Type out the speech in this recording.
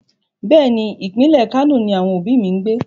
Bẹ́ẹ̀ni, ìpínlẹ̀ Kano ni àwọn òbí mi ń gbé.